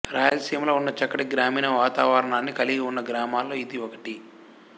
రాయలసీమలో ఉన్న చక్కటి గ్రామీణ వాతావరణాన్ని కలిగి ఉన్న గ్రామాల్లో ఇది ఒకటి